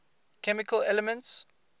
chemical elements